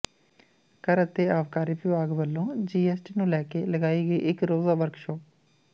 ਕਰ ਅਤੇ ਆਬਕਾਰੀ ਵਿਭਾਗ ਵੱਲੋਂ ਜੀ ਐਸ ਟੀ ਨੂੰ ਲੈਕੇ ਲਗਾਈ ਗਈ ਇੱਕ ਰੋਜ਼ਾ ਵਰਕਸ਼ਾਪ